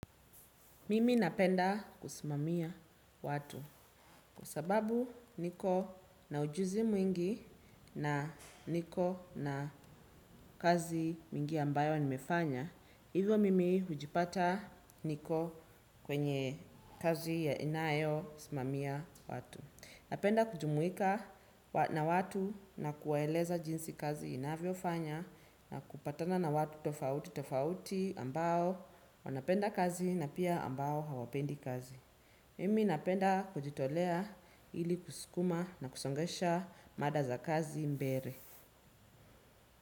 Mimi napenda kusimamia watu kwa sababu niko na ujuzi mwingi na niko na kazi mingi ambayo nimefanya. Hivyo mimi hujipata niko kwenye kazi ya inayosimamia watu. Napenda kujumuika na watu na kuwaeleza jinsi kazi inavyofanya na kupatana na watu tofauti tofauti ambao wanapenda kazi na pia ambao hawapendi kazi. Mimi napenda kujitolea ili kuskuma na kusongesha mada za kazi mbele.